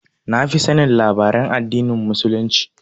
Na fi sanin labaran addinin Muslunci